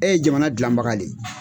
E ye jamana dilanbaga le ye.